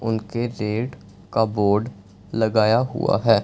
उनके रेट का बोर्ड लगाया हुआ है।